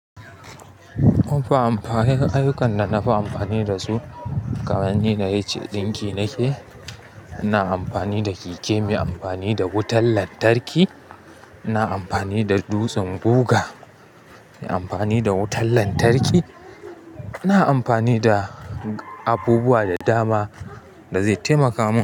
Munfi amfani ayyukan da nafi amfani da su kamar ni da H. Dinki nake, ana amfani da keke, me amfani da wutar lantarki, ina amfani da dutsen guga, me amfani da wutar lantarki, ina amfani da abubuwa da dama da zai taimaka mun.